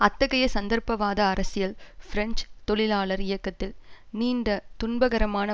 அத்தகைய சந்தர்ப்பவாத அரசியல் பிரெஞ்சு தொழிலாளர் இயக்கத்தில் நீண்ட துன்பகரமான